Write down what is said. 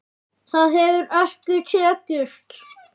Það hefur ekki tekist.